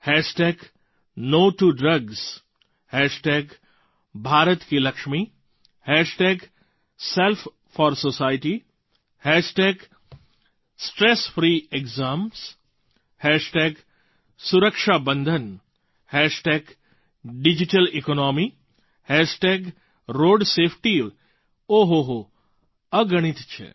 hash tag no to drugs hashtag ભરતકીલક્ષમી hashtag Self4Society hashtag stress free exams hashtag સુરક્ષાબંધન hashtag digital economy hashtag road safety ઓ હો હો અગણિત છે